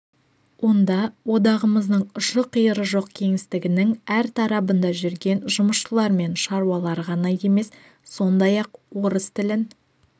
онда одағымыздың ұшы-қиыры жоқ кеңістігінің әр тарабында жүрген жұмысшылар мен шаруалар ғана емес сондай-ақ орыс тілін